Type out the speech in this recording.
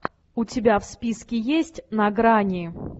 у тебя в списке есть на грани